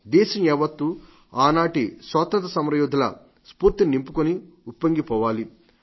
దేశం యావత్తు ఆ నాటి స్వాతంత్ర్య యోధుల స్ఫూర్తిని నింపుకొని ఉప్పొంగిపోవాలి